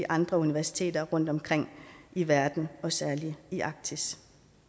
andre universiteter rundt omkring i verden og særlig i arktis